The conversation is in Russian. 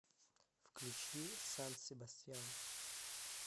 включи сан себастьян